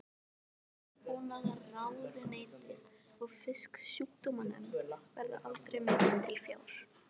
Landbúnaðarráðuneytið og Fisksjúkdómanefnd, verða aldrei metin til fjár.